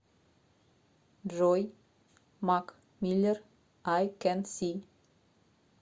джой мак миллер ай кэн си